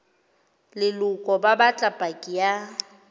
leloko ba batla paki ya